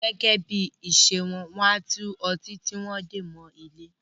Gẹ́gẹ́ bí ìṣe wọn, wọ́n á tú ọtí tí wón de mọ ilé